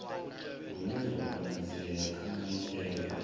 hune zwa konadzea kha maitele